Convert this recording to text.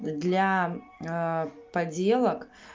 для поделок